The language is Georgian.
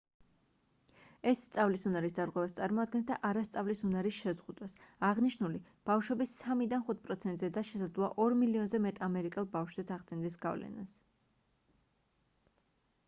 ეს სწავლის უნარის დარღვევას წარმოადგენს და არა სწავლის უნარის შეზღუდვას აღნიშნული ბავშვების 3-დან 5 პროცენტზე და შესაძლოა 2 მილიონზე მეტ ამერიკელ ბავშვზეც ახდენდეს გავლენას